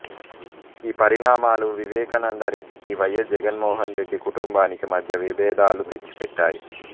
ఈ పరిణామాలు వివేకానందరెడ్డికీ వై ఎస్ జగన్మోహనరెడ్డి కుటుంబానికి మధ్య విభేదాలు తెచ్చిపెట్టాయి